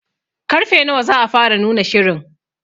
Karfe nawa za a fara nuna shirin?